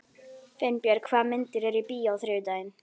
Finnbjörg, hvaða myndir eru í bíó á þriðjudaginn?